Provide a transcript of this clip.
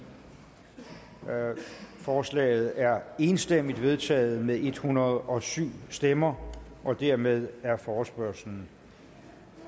forslaget er enstemmigt vedtaget med en hundrede og syv stemmer dermed er forespørgslen